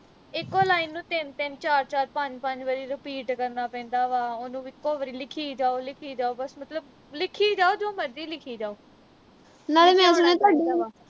ਇਕੋ line ਨੂੰ ਤਿੰਨ ਤਿੰਨ ਚਾਰ ਚਾਰ ਪੰਜ ਪੰਜ ਵਾਰੀ repeat ਕਰਨਾ ਪੈਂਦਾ ਵਾ ਉਹਨੂੰ ਇਕੋ ਵਾਰੀ ਲਿਖੀ ਜਾਓ ਲਿਖੀ ਜਾਓ ਬਸ ਮਤਲਬ ਲਿਖੀ ਜਾਓ ਜੋ ਮਰਜੀ ਲਿਖੀ ਜਾਓ